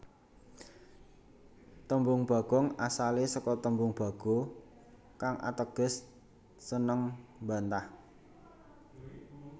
Tembung Bagong asale saka tembung Bagho kang ateges seneng mbantah